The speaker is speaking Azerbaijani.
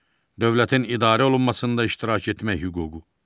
Dövlətin idarə olunmasında iştirak etmək hüququ.